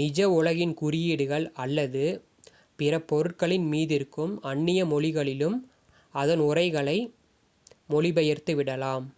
நிஜ உலகின் குறியீடுகள் அல்லது பிற பொருட்களின் மீதிருக்கும் அன்னிய மொழிகளிலும் அதன் உரைகளை மொழிபெயர்த்துவிடலாம்